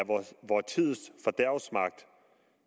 vor tids fordærvsmagt